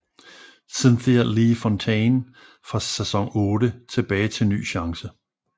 Cynthia Lee Fontaine fra sæson otte tilbagetil ny chance